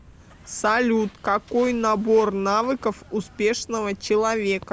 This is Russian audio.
салют какой набор навыков успешного человека